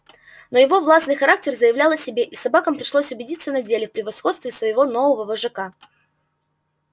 но его властный характер заявлял о себе и собакам пришлось убедиться на деле в превосходстве своего нового вожака